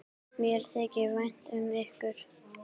Mér þykir vænt um ykkur.